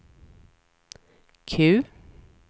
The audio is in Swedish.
Q